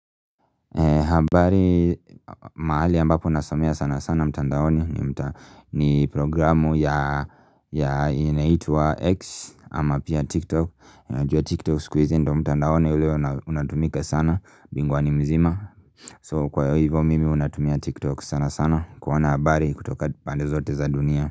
Pahali mahali ambapo nasomea sana sana mtandaoni ni ni programu ya inaitwa X ama pia TikTok Najua TikTok siku hizi ndio mtandaoni ulio unatumika sana binguwani mzima So kwa hivyo mimi huwa natumia TikTok sana sana kuona habari kutoka pande zote za dunia.